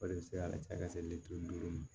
O de bɛ se ka ca ka se litiri duuru ma